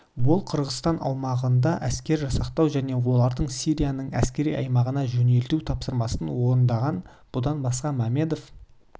ол қырғызстан аумағында әскер жасақтау және оларды сирияның әскери аймағына жөнелту тапсырмасын орындаған бұдан басқа мәмедов